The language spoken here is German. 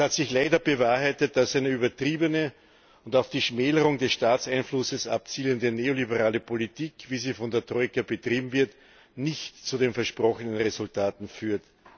Es hat sich leider bewahrheitet, dass eine übertriebene und auf die Schmälerung des Staatseinflusses abzielende neoliberale Politik wie sie von der Troika betrieben wird nicht zu den versprochenen Resultaten führt.